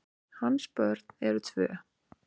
Hans börn eru tvö.